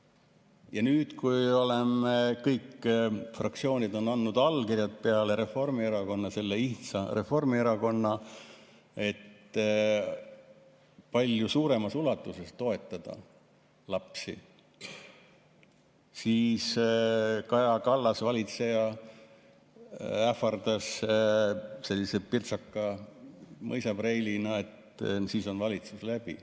Ja nüüd, kui kõik fraktsioonid peale selle ihnsa Reformierakonna on andnud allkirja, et palju suuremas ulatuses toetada lapsi, siis Kaja Kallas, valitseja, ähvardas, sellise pirtsaka mõisapreilina, et sel juhul on valitsus läbi.